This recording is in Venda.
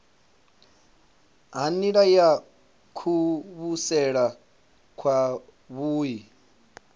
ha nila ya kuvhusele kwavhui